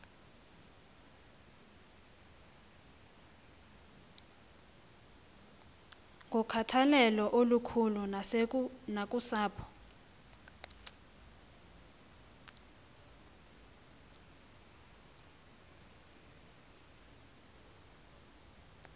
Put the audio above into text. nokhathalelo olukhulu nakusapho